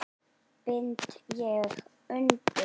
bind ég undir skó